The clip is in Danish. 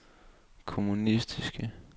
kommunistiske